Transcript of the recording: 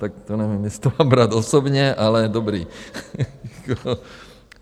Tak to nevím, jestli to mám brát osobně, ale dobrý.